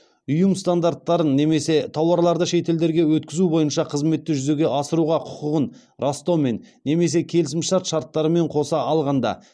ұйым стандарттарын немесе тауарларды шетелдерге өткізу бойынша қызметті жүзеге асыруға құқығын растаумен немесе келісімшарт шарттарымен қоса алғанда